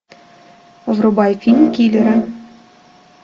врубай фильм киллеры